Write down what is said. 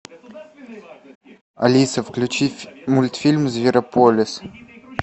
алиса включи мультфильм зверополис